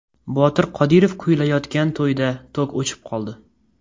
Botir Qodirov kuylayotgan to‘yda tok o‘chib qoldi.